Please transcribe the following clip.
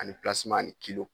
Ani pilaseman ani s ni kilo